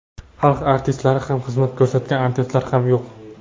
Xalq artistlari ham, xizmat ko‘rsatgan artistlar ham yo‘q.